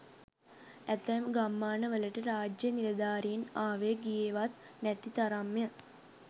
ඇතැම් ගම්මාන වලට රාජ්‍ය නිලධාරීන් ආවේ ගියෙවත් නැති තරම්ය.